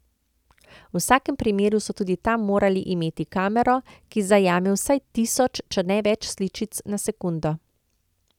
V vsakem primeru so tudi tam morali imeti kamero, ki zajame vsaj tisoč, če ne več sličic na sekundo.